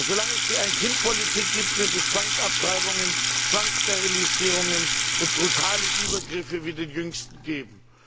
Solange es die Ein Kind Politik gibt, wird es Zwangsabtreibungen, Zwangssterilisierungen und brutale Übergriffe wie den jüngsten geben.